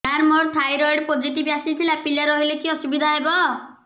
ସାର ମୋର thyroid positive ଆସିଥିଲା ପିଲା ରହିଲେ କି ଅସୁବିଧା ହେବ